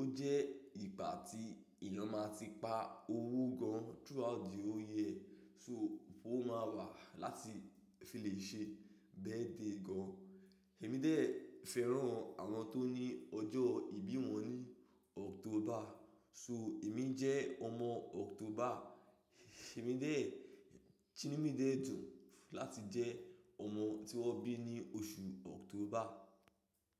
ó jẹ́ ìgbà tí èèyàn máa ti pa owó gan throughout the year so owó máa wà láti fi lè ṣe birthday gan. Èmi dé fẹ́ràn àwọn tó ní ọjọ́ ìbí wọn ní October. So èmi jẹ́ ọmọ October. Èmi dẹ̀, Inu mi dẹ́ dùn láti jẹ́ ọmọ tí wón bí ní oṣù October.